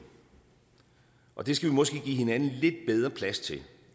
og det skal vi måske give hinanden lidt bedre plads til